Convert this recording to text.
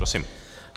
Prosím.